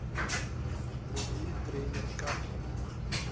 вруби тренер картер